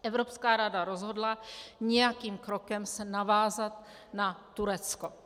Evropská rada rozhodla nějakým krokem se navázat na Turecko.